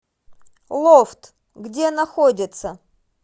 лофт где находится